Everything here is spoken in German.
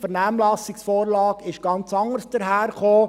die Vernehmlassungsvorlage kam ganz anders daher.